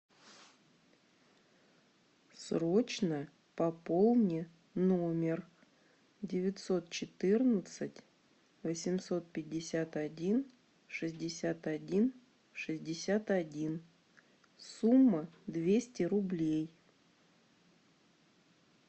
срочно пополни номер девятьсот четырнадцать восемьсот пятьдесят один шестьдесят один шестьдесят один сумма двести рублей